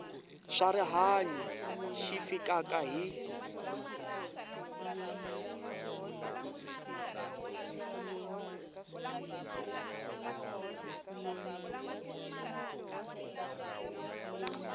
swa rihanyu xi fikaka hi